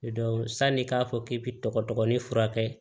sanni i k'a fɔ k'i bi tɔgɔ dɔgɔnin furakɛ